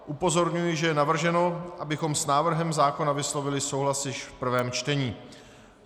Upozorňuji, že je navrženo, abychom s návrhem zákona vyslovili souhlas již v prvém čtení.